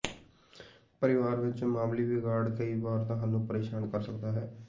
ਪਰਿਵਾਰ ਵਿਚ ਮਾਮੂਲੀ ਵਿਗਾੜ ਕਈ ਵਾਰ ਤੁਹਾਨੂੰ ਪਰੇਸ਼ਾਨ ਕਰ ਸਕਦਾ ਹੈ